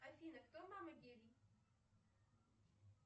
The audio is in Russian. афина кто мама